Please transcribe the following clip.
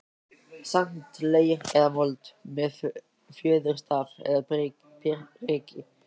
sand, leir eða mold, með fjöðurstaf eða priki.